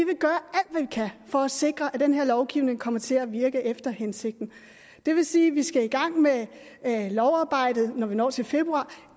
kan for at sikre at den her lovgivning kommer til at virke efter hensigten det vil sige at vi skal i gang med lovarbejdet når vi når til februar